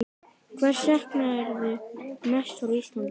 Hvers saknarðu mest frá Íslandi?